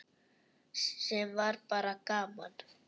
Sem var bara gaman.